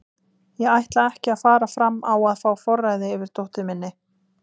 Ég ætla ekki að fara fram á að fá forræðið yfir dóttur minni.